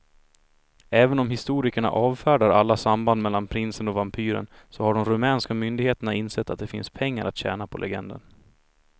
Även om historikerna avfärdar alla samband mellan prinsen och vampyren så har de rumänska myndigheterna insett att det finns pengar att tjäna på legenden.